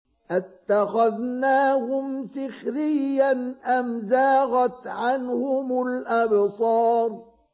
أَتَّخَذْنَاهُمْ سِخْرِيًّا أَمْ زَاغَتْ عَنْهُمُ الْأَبْصَارُ